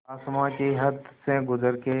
आसमां की हद से गुज़र के